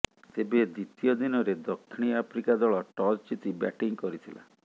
ତେବେ ଦ୍ୱିତୀୟ ଦିନରେ ଦକ୍ଷିଣ ଆଫ୍ରିକା ଦଳ ଟସ୍ ଜିତି ବ୍ୟାଟିଂ କରିଥିଲା